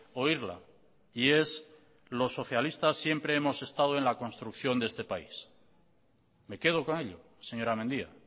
oírla y es los socialistas siempre hemos estado en la construcción de este país me quedo con ello señora mendia